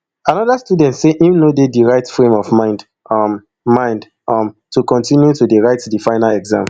anoda student say im no dey di right frame of mind um mind um to continue to dey write di final exam